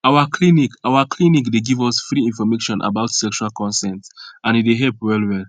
our clinic our clinic dey give us free information about sexual consent and e dey help well well